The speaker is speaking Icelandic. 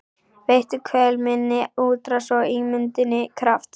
Veittu kvöl minni útrás og ímynduninni kraft.